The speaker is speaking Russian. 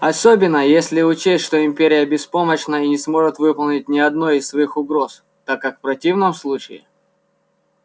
особенно если учесть что империя беспомощна и не сможет выполнить ни одной из своих угроз так как в противном случае